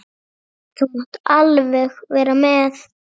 Þú mátt alveg vera með.